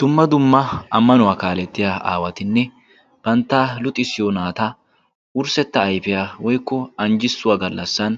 Dumma dumma ammanuwaa kaalettiya aawatinne bantta luxissiyo naata wurssetta ayfiyaa woikko anjjissuwaa gallassan